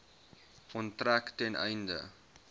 onttrek ten einde